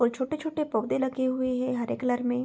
और छोटे-छोटे पौधे लगे हुए हैं हरे कलर में।